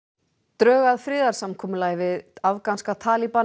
drög að friðarsamkomulagi við afganska